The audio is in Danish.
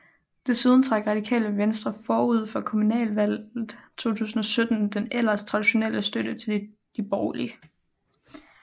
Desuden trak Radikale Venstre forud for kommunalvalget 2017 den ellers tradionelle støtte til de borgerlige